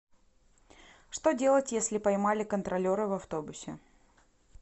что делать если поймали контролеры в автобусе